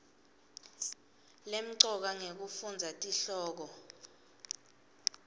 lemcoka ngekufundza tihloko